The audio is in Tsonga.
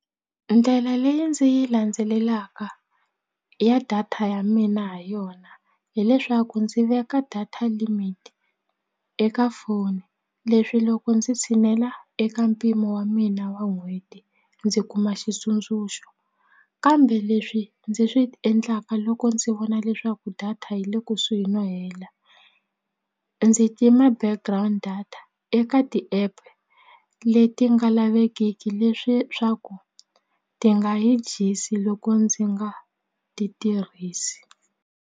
Ndlela leyi ndzi yi landzelelaka ya data ya mina ha yona hileswaku ndzi veka data limit eka foni leswi loko ndzi tshinela eka mpimo wa mina wa n'hweti ndzi kuma xitsundzuxo kambe leswi ndzi swi endlaka loko ndzi vona leswaku data yi le kusuhi no hela ndzi tima background data eka tiapp leti nga lavekeki leswi swa ku ti nga yi dyisi loko ndzi nga ti tirhisi.